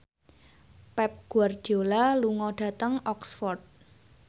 Pep Guardiola lunga dhateng Oxford